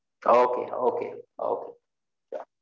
okay okay okay